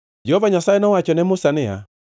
Jehova Nyasaye nowacho ne Musa niya,